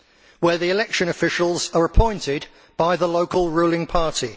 where the election officials are appointed by the local ruling party.